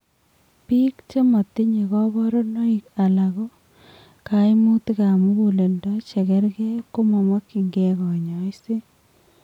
Biik chematinye kaborunoik alako kaimutik ab muguleldo chekerke komamokyinke kanyoiset